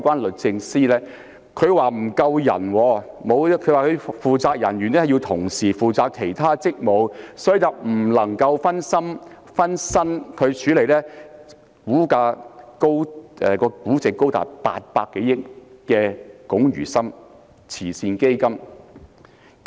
律政司表示，負責人員要同時負責其他職務，不能分身處理估值高達800多億元的華懋慈善基金。